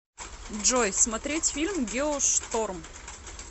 джой смотерть фильм геошторм